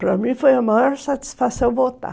Para mim foi a maior satisfação voltar.